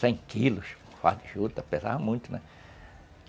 Cem quilos de fardo de ajuda, pesava muito, né?